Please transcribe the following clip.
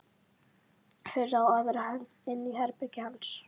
Hurð á aðra hönd inn í herbergið hans.